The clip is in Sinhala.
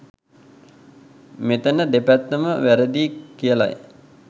මෙතන දෙපැත්තම වැරදියි කියලයි